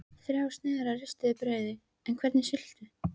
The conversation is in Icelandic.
Þrjár sneiðar af ristuðu brauði en hvernig sultu?